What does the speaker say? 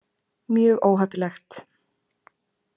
Mjög óheppilegt.